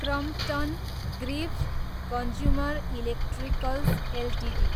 Crompton Greaves consumer electricals Ltd